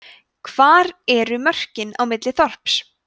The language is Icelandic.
hvar eru mörkin á milli þorps